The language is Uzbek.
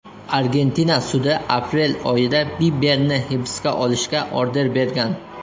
Argentina sudi aprel oyida Biberni hibsga olishga order bergan .